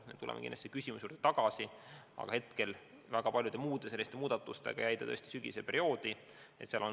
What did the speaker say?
Me tuleme kindlasti selle küsimuse juurde tagasi, aga hetkel jäi see väga paljude muude muudatuste tõttu sügisperioodil arutada.